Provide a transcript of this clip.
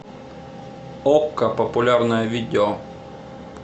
окко популярное видео